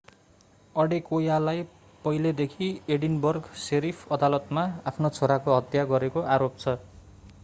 अडेकोयालाई पहिलेदेखि Edinburgh sheriff अदालतमा आफ्नो छोराको हत्या गरेको आरोप छ